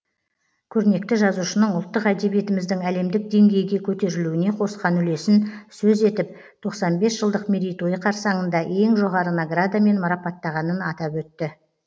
көрнекті жазушының ұлттық әдебиетіміздің әлемдік деңгейге көтерілуіне қосқан үлесін сөз етіп тоқсан бес жылдық мерейтойы қарсаңында ең жоғары наградамен марапаттағанын атап өтті